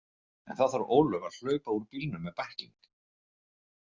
En þá þarf Ólöf að hlaupa úr bílnum með bækling.